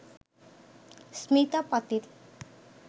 Smita Patil